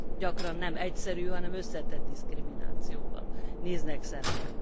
Sőt, gyakran nem egyszerű, hanem összetett diszkriminációval néznek szembe.